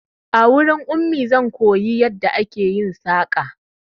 A wurin Ummi zan koyo yadda ake yin saƙa